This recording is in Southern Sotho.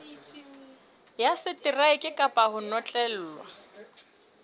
ya seteraeke kapa ho notlellwa